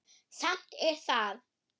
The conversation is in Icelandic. Samt er það